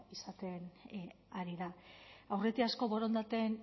izaten ari da aurretiazko borondateen